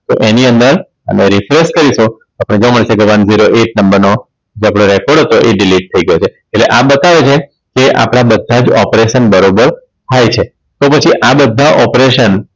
તો એની અંદર અને Research કરીએ તો આપણે જોવા મળશે કે One Zero Eight નંબરનો જે આપનો Record હતો એ Delete થઈ ગયો છે એટલે આ બતાવે છે કે આપણા બધા જ operation બરોબર થાય છે. તો પછી આ બધા operation